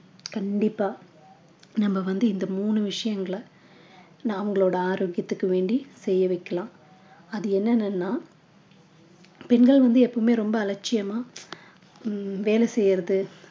கண்டிப்பா நம்ம வந்து இந்த மூணு விஷயங்களை நான் உங்களோட ஆரோக்கியத்துக்கு வேண்டி செய்ய வைக்கலாம் அது என்னென்னன்னா பெண்கள் வந்து எப்பவுமே ரொம்ப அலட்சியமா ஹம் வேலை செய்யறது